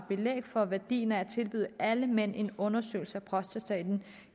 belæg for værdien af at tilbyde alle mænd en undersøgelse af prostataen